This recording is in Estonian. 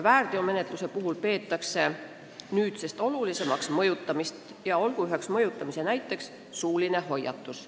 Väärteomenetluse puhul peetakse nüüdsest olulisimaks mõjutamist, mille näiteks võib tuua suulise hoiatuse.